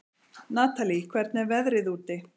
Natalí, hvernig er veðrið úti?